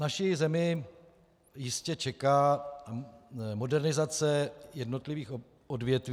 Naši zemi jistě čeká modernizace jednotlivých odvětví.